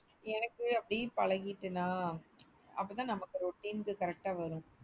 எனக்கு அப்டியே பழகிட்டேன்னா அப்போ தான் நமக்கு routine க்கு correct ஆ வரும்.